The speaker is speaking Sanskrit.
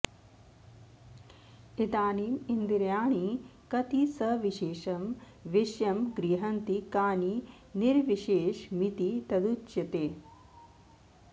इदानीमिन्द्रियाणि कति सविशेषं विषयं गृह्णन्ति कानि निर्विशेषमिति तदुच्यते